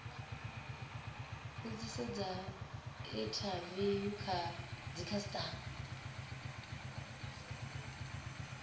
mbudziso dza inthaviwu kha dzikhasitama